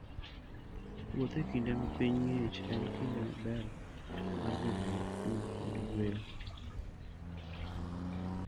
Wuoth e kinde ma piny ng'ich en kinde maber mar bedo gi kuwe kod yueyo.